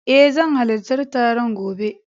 Eh zan halarci taron gobe.